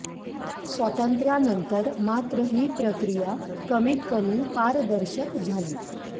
स्वातंत्र्यानंतर मात्र ही प्रक्रिया कमीत कमी पारदर्शक झाली